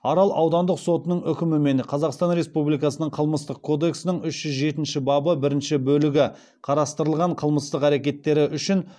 арал аудандық сотының үкімімен қазақстан республикасының қылмыстық кодексінің үш жүз жетінші бабы бірінші бөлігі қарастырылған қылмыстық әрекеттері үшін